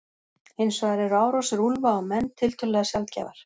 Hins vegar eru árásir úlfa á menn tiltölulega sjaldgæfar.